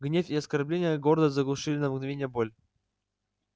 гнев и оскорбления гордость заглушили на мгновение боль